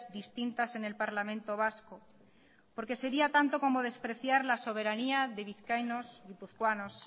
distintas en el parlamento vasco porque sería tanto como despreciar la soberanía de vizcaínos guipuzcoanos